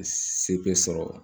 Se bɛ sɔrɔ